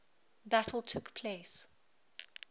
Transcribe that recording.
battle took place